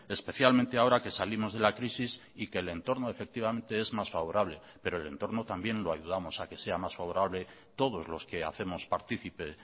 especialmente ahora que salimos de la crisis y que el entorno efectivamente es más favorable pero el entorno también lo ayudamos a que sea mas favorable todos los que hacemos partícipe